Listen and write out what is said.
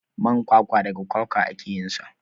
Man kwakwa daga kwakwa ake yinsa.